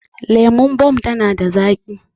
Lemon Bomb tana da zaƙi